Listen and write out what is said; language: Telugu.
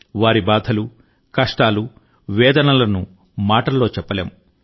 వారి బాధలు కష్టాలు వేదనలను మాటల్లో చెప్పలేము